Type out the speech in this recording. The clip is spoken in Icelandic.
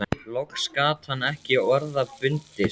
Loks gat hann ekki orða bundist